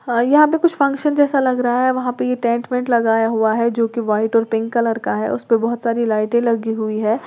यहां पे कुछ फंक्शन जैसा लग रहा है वहां पे ये टेंट वेंट लगाया हुआ है जो कि व्हाइट और पिंक कलर का है उसपे बहुत सारी लाइटें लगी हुई है।